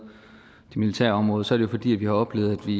det militære område så jo fordi vi har oplevet at vi